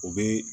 U bɛ